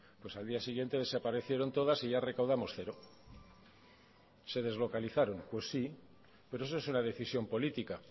pues al día siguiente desaparecieron todas y ya recaudamos cero se deslocalizaron pues sí pero eso es una decisión política